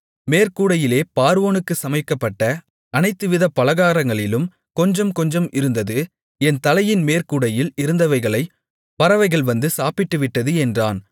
மேற்கூடையிலே பார்வோனுக்காக சமைக்கப்பட்ட அனைத்துவித பலகாரங்களிலும் கொஞ்சம் கொஞ்சம் இருந்தது என் தலையின் மேற்கூடையில் இருந்தவைகளைப் பறவைகள் வந்து சாப்பிட்டுவிட்டது என்றான்